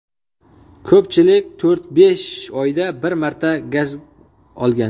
Ko‘pchilik to‘rt-besh oyda bir marta gaz olgan.